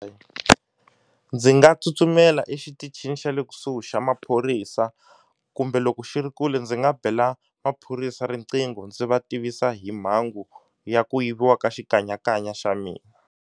Eya ndzi nga tsutsumela exitichini xa le kusuhi xa maphorisa kumbe loko xi ri kule ndzi nga bela maphorisa riqingho ndzi va tivisa hi mhangu ya ku yiviwa ka xikanyakanya xa mina.